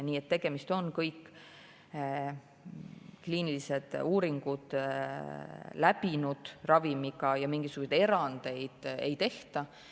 Nii et tegemist on kõik kliinilised uuringud läbinud ravimiga ja mingisuguseid erandeid ei tehta.